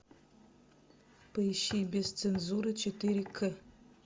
поищи без цензуры четыре к